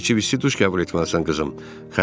Aspirin içib isti duş qəbul etməlisən qızım.